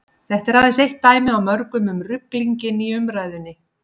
þetta er aðeins eitt dæmi af mörgum um ruglinginn í umræðunni